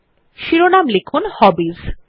তাই শিরোনাম লিখুন হবিস